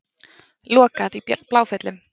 Lokað í Bláfjöllum